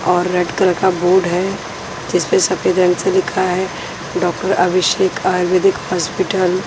और red colour का board है जिसपे सफेद रंग से लिखा है डॉक्टर अभिषेक आयुर्वेदिक हॉस्पिटल।